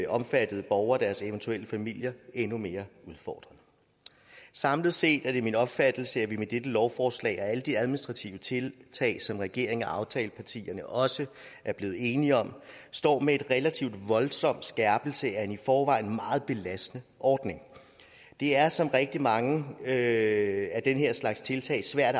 omfattede borgere og deres eventuelle familier endnu mere udfordret samlet set er det min opfattelse at vi med dette lovforslag og alle de administrative tiltag som regeringen og aftalepartierne også er blevet enige om står med en relativ voldsom skærpelse af en i forvejen meget belastende ordning det er som rigtig mange af den her slags tiltag svært